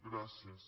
gràcies